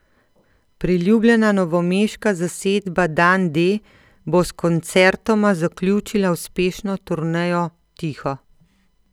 Priljubljena novomeška zasedba Dan D bo s koncertoma zaključila uspešno turnejo Tiho.